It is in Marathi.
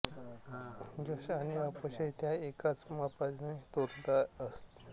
यश आणि अपयश त्या एकाच मापाने तोलत असत